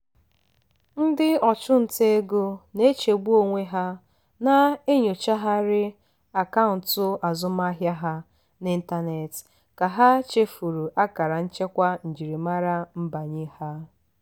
ndị ọchụnta ego na-echegbu onwe ha na-enyochagharị akaụntụ azụmaahịa ha n'ịntanetị ka ha chefuru akara nchekwa njirimara nbanye ha.